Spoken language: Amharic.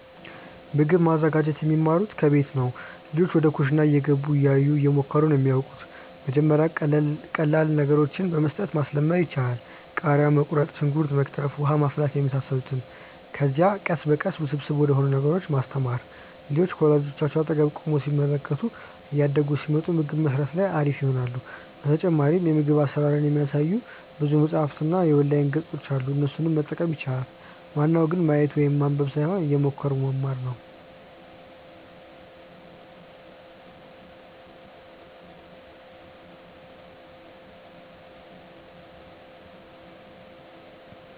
ምግብ ማዘጋጀት የሚማሩት ከቤት ነው። ልጆች ወደ ኩሽና እየገቡ፣ እያዩ፣ እየሞከሩ ነው የሚያወቁት። መጀመሪያ ቀላል ነገሮችን በመስጠት ማስለመድ ይቻላል። ቃሪያ መቁረጥ፣ ሽንኩርት መክተፍ፣ ውሃ ማፍላት የመሳሰሉትን። ከዚያ ቀስ በቀስ ውስብስብ ወደሆኑ ነገሮች ማስተማር። ልጆች ከወላጆቻቸው አጠገብ ቆመው ሲመለከቱ እያደጉ ሲመጡ ምግብ መስራት ላይ አሪፍ ይሆናሉ። በተጨማሪም የምግብ አሰራርን የሚያሳዩ ብዙ መፅሀፎች እና የኦንላይን ገፆች አሉ እነሱንም መጠቀም ይቻላል። ዋናው ግን ማየት ወይም ማንበብ ሳይሆን እየሞከሩ መማር ነው